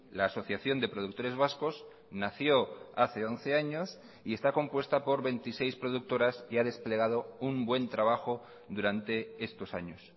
la asociación de productores vascos nació hace once años y está compuesta por veintiséis productoras y ha desplegado un buen trabajo durante estos años